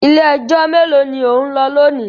Ilé-ẹjọ́ mélòó ni ò ń lọ lónìí?